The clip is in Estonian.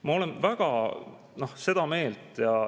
Ma olen väga seda meelt.